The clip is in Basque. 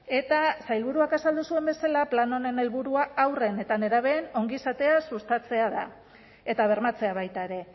eta sailburuak azaldu zuen bezala plan honen helburua haurren eta nerabeen ongizatea sustatzea da eta bermatzea baita ere